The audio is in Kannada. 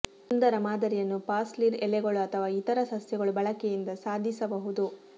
ಸುಂದರ ಮಾದರಿಯನ್ನು ಪಾರ್ಸ್ಲಿ ಎಲೆಗಳು ಅಥವಾ ಇತರ ಸಸ್ಯಗಳು ಬಳಕೆಯಿಂದ ಸಾಧಿಸಬಹುದು